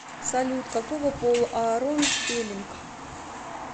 салют какого пола аарон спеллинг